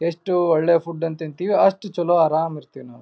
ಎಷ್ಟು ಒಳ್ಳೆ ಫುಡ್ ಅನ್ನು ತಿಂತೀವಿ ಅಷ್ಟು ಚಲೊ ಅರಾಮ್ ಇರ್ತೀವಿ.